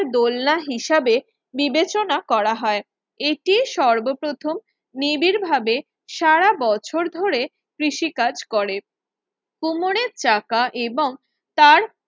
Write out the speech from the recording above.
দোলনা হিসাবে বিবেচনা করা হয় এতে সর্বপ্রথম নিবিড় ভাবে সারা বছর ধরে কৃষিকাজ করে কুমোরের চাকা এবং তার